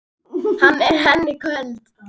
Veri hann ætíð Guði falinn.